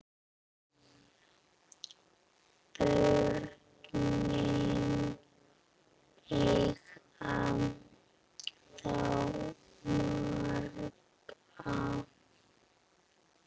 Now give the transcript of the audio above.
Börnin eiga þá marga